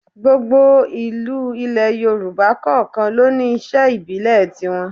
Gbogbo ìlú ilẹ̀ Yorùbá kọ̀ọ̀kan ló ní iṣẹ́ ìbílẹ̀ tiwọn